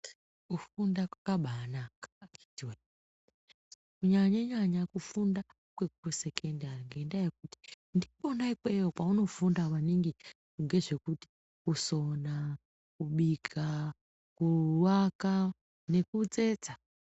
Kufunda kwakabaanaka akhiti wee, kunyanya-nyanya kufunda kwekusekendari, ngendaa yekuti, ndikwona ikweyo kweunofunda maningi ngezvekuti kusona, kubika, kuaka nekutsetsa.